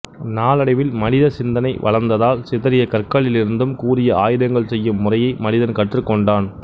நாளடைவில் மனித சிந்தனை வளர்ந்ததால் சிதறிய கற்களிலிருந்தும் கூரிய ஆயுதங்கள் செய்யும் முறையை மனிதன் கற்றுக் கொண்டான்